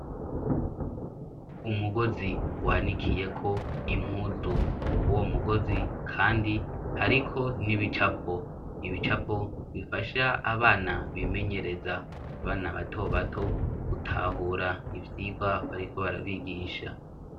Umugozi wanikiyeko impuzu; Kuri uwo mugozi kandi hariko n'ibicapo. Ibicapo bifasha abana bimenyereza. Abana bato bato gutahura ivyigwa bariko barabigisha.